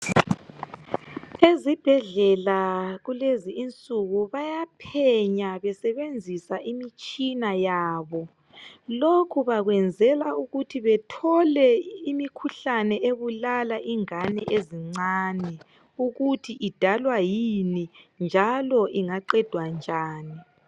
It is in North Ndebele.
ezibhedlela kulezi insuku bayaphenya besebenzisa imitshina yabo lokhu bakwenzela ukuthi bethole imikhuhlane ebulala ingane ezincane ukuthi idalwa yini njalo ingaqedwa njani